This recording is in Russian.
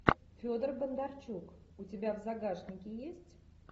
федор бондарчук у тебя в загашнике есть